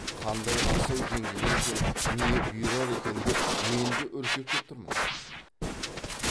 қандай асау жеңгелер екен не бұйырар екен деп мен де үркектеп тұрмын